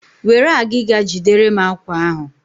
Were agịga jiderem àkwá ahụ!